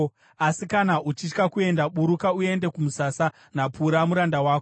Asi kana uchitya kuenda, buruka uende kumusasa naPura muranda wako.